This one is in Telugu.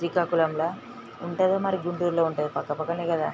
శ్రీకాకుళం లో ఉంటాదో వారి గుంటూరు లో ఉంటాదో పక్క పక్కనే కదా--